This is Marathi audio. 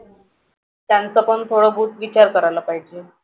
त्यांचंपण थोडं बहुत विचार करायला पाहिजे.